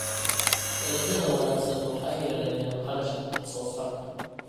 Dalagyada wanaagsan waxay yareeyaan kharashka wax soo saarka.